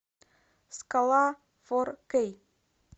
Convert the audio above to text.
скала фор кей